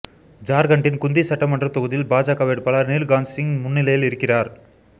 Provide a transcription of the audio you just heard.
ஜார்க்கண்ட்டின் குந்தி சட்டமன்ற தொகுதியில் பாஜக வேட்பாளர் நீல்காந்த் சிங் முன்னிலையில் இருக்கிறார்